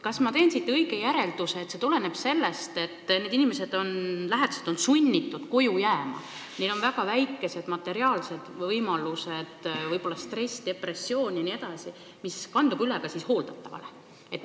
Kas ma teen õige järelduse, et see tuleneb sellest, et lähedased on sunnitud koju jääma, neil on väga väikesed materiaalsed võimalused, võib olla stress, depressioon jne, mis kandub üle ka hooldatavale?